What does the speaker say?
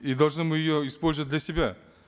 и должны мы ее использовать для себя